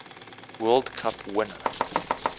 world cup winner